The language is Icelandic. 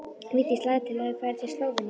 Vigdís lagði til að þau færu til Slóveníu.